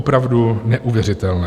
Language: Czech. Opravdu neuvěřitelné.